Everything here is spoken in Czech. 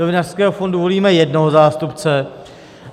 Do Vinařského fondu volíme jednoho zástupce.